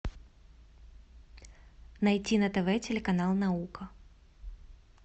найти на тв телеканал наука